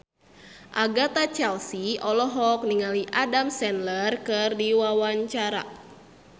Agatha Chelsea olohok ningali Adam Sandler keur diwawancara